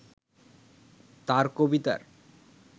তাঁর কবিতার